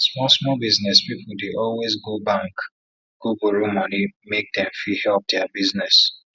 small small business people dey always go bank go borrow money make dem fit help their business